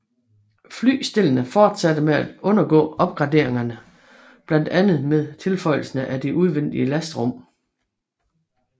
Flystellene fortsatte med at undergå opgraderinger blandt andet med tilføjelsen af udvendige lastrum